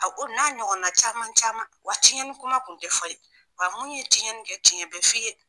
A ko n'a ɲɔgɔn na caman caman, wa tiɲɛnin kuma kun tɛ fɔ yen, wa mun ye tiɲɛnin kɛ tiɲɛ bɛ f'i ye.